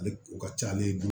Ale o ka ca ale bolo